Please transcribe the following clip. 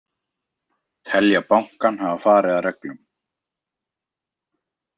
Telja bankann hafa farið að reglum